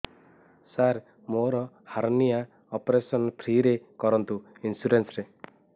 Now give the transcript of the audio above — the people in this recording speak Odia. ସାର ମୋର ହାରନିଆ ଅପେରସନ ଫ୍ରି ରେ କରନ୍ତୁ ଇନ୍ସୁରେନ୍ସ ରେ